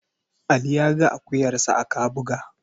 Ali ya ga akuyarsa a Kabuga.